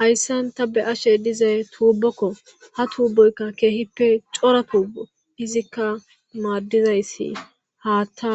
Haysan ta beyashe dizay tubokko ha tuboyka kehipe cora buboko izika madizaysi haatha